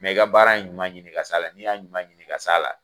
i ka baara in ɲuman ɲini ka s'a la, n'i y'a ɲuman ɲini ka s'a la